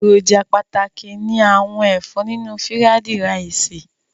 Èròjà pàtàkì ni àwọn ẹ̀fọ́ nínú fírádí raìsì.